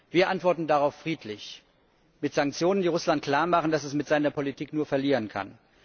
Wir antworten darauf friedlich mit Sanktionen, die Russland klarmachen, dass es mir seiner Politik nur verlieren kann.